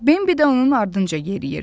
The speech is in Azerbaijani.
Bimbi də onun ardınca yeriyirdi.